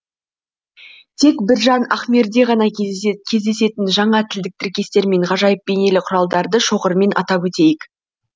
тек біржан ахмерде ғана кездесетін жаңа тілдік тіркестер мен ғажайып бейнелі құралдарды шоғырымен атап өтейік